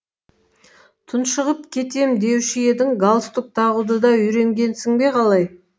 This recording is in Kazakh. тұншығып кетем деуші едің галстук тағуды да үйренгенсің бе қалай